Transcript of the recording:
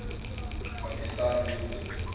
pakistan movement